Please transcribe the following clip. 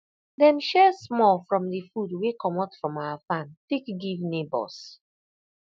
dem share small from the food wey comot from our farm take give neighbors